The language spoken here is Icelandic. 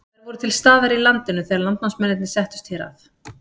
Þær voru til staðar í landinu þegar landnámsmennirnir settust hér að.